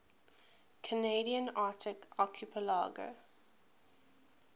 canadian arctic archipelago